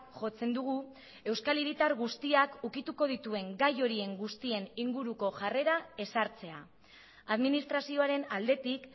jotzen dugu euskal hiritar guztiak ukituko dituen gai horien guztien inguruko jarrera ezartzea administrazioaren aldetik